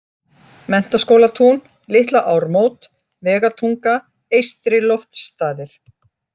Menntaskólatún, Litla-Ármót, Vegatunga, Eystri-Loftsstaðir